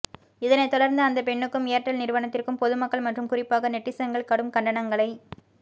இதனை தொடர்ந்து அந்த பெண்ணுக்கும் ஏர்டெல் நிறுவனத்திற்கும் பொதுமக்கள் மற்றும் குறிப்பாக நெட்டிசன்கள் கடும் கண்டனங்களை